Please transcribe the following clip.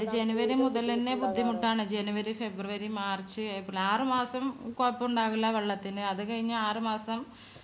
january മുതലെന്നെ ബുദ്ധിമുട്ടാണ്. january february march april ആറ് മാസം കൊഴപ്പുണ്ടാവില്ല വെള്ളത്തിന് അത് കയിഞ്ഞ ആറ് മാസം